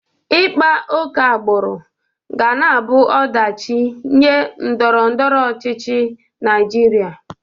Ịkpa oke agbụrụ ga na-abụ ọdachị nye ndọrọndọrọ ọchịchị Naịjịrịa.